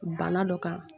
Bana dɔ kan